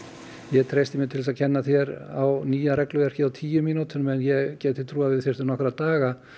ég treysti mér til að kenna þér á nýja regluverkið á tíu mínútum en ég gæti trúað að við þyrftum nokkra daga